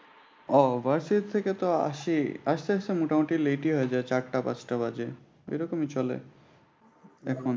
আহ varsity থেকে তো আসি আসতে আসতে মোটামুটি late ই হয়ে যায়। চারটা পাঁচ টা বাজে এইরকম চলে এখন।